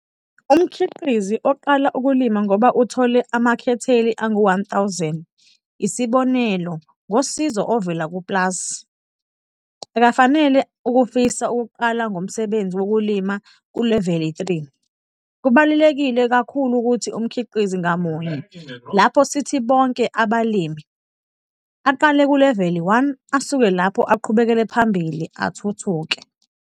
Umkhiqizi oqala ukulima ngoba uthole amahektheli angu-1 000, isibonelo, ngosizo ovela ku-PLAS, akafanele afise ukuqala ngomsebenzi wokulima kuleveli 3 - kubalulekile kakhulu ukuthi umkhiqizi ngamunye, lapha sithi bonke abalimi, aqale kuleveli 1 asuke lapho aqhubekele phambili athuthuke.